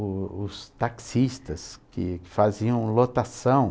O os taxistas que faziam lotação.